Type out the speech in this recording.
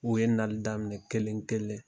U ye nali daminɛ kelen kelen.